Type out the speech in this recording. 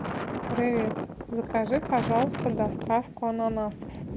привет закажи пожалуйста доставку ананасов